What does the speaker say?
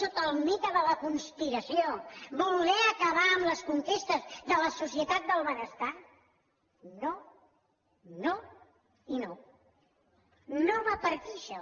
sota el mite de la conspiració voler acabar amb les conquestes de la societat del benestar no no i no no va per aquí això